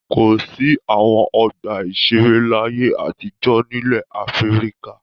Kò sí àwọn ọgbà-ìṣeré láyé àtijọ́ nílẹ̀ Áfíríkà.